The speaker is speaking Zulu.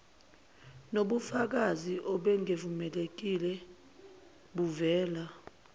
nokubafakazi obungemukelekile buvela